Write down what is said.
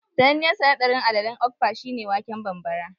Sananniyar sanaɗarin alalen okpa shi ne waken bambara